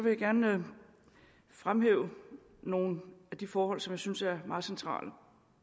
jeg gerne fremhæve nogle af de forhold som jeg synes er meget centrale